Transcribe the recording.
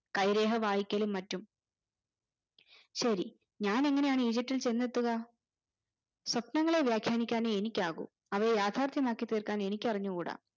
കൈ രേഖ വായിക്കലും മറ്റും ശെരി ഞാൻ എങ്ങനെയാണ് ഈജിപ്തിൽ ചെന്നെത്തുക സ്വപ്നങ്ങളെ വ്യാഖ്യാനിക്കാനേ എനിക്കാക്കു അവയെ യാഥാർഥ്യമാക്കി തീർക്കാൻ എനിക്ക് അറിഞ്ഞുകൂടാ